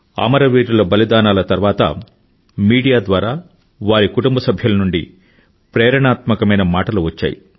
అమరవీరుల బలిదానాల తరువాత మీడియా ద్వారా వారి కుటుంబ సభ్యుల నుండి ప్రేరణాత్మకమైన మాటలు వచ్చాయి